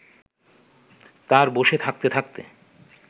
তাঁর বসে থাকতে থাকতে